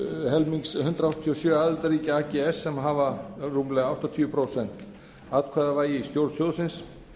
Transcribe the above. helmings hundrað áttatíu og sjö aðildarríkja ags sem hafa rúmlega áttatíu prósent atkvæðavægi í stjórn sjóðsins